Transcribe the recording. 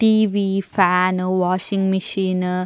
TV fan washing machine --